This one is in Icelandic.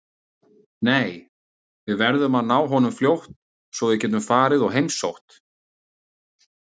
Nei, við verðum að ná honum fljótt svo að við getum farið og heimsótt